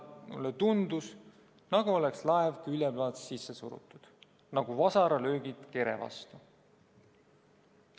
Mulle tundus, nagu oleks laev külje pealt sisse surutud, nagu vasaralöögid kere vastu."